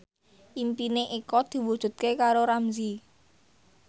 impine Eko diwujudke karo Ramzy